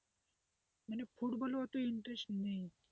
ফুটবলের অত interest নেই,